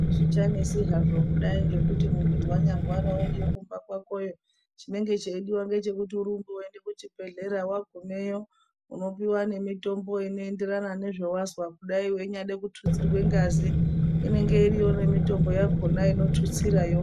Hazvichanesi havo kudai ngekuti munhu wanyarwara uriyo kumba kwakoyo, chinenge cheyidiwa ngechekuti urumbe uyende kuchibhedhleya, wagumeyo unopiwa nemitombo inoendererana nezvawazwa kudayi, weinyade kuthutsirwe ngazi, inenge iriyo nemitombo yakhona inothutsirayo.